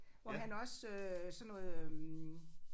Hvor han også øh sådan noget øh